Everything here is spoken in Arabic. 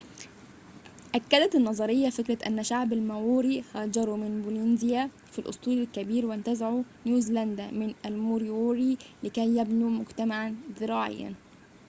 أكدت النظرية فكرة أن شعب الماوري هاجروا من بولنيزيا في الأسطول الكبير وانتزعوا نيوزيلندا من الموريوري لكي يبنوا مجتمعاً زراعياً